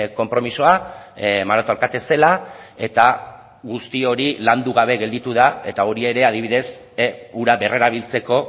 konpromisoa maroto alkate zela eta guzti hori landu gabe gelditu da eta hori ere adibidez ura berrerabiltzeko